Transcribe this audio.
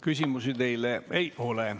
Küsimusi teile ei ole.